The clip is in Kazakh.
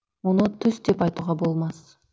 мұны түс деп айтуға болмас